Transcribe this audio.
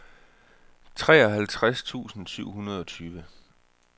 treoghalvtreds tusind syv hundrede og tyve